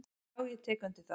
"""Já, ég tek undir það."""